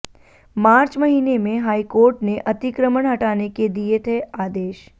मार्च महीने में हाईकोर्ट ने अतिक्रमण हटाने के दिए थे आदेश